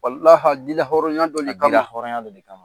a di la hɔɔrɔnya dɔ le kama, a di la hɔrɔnya le kama.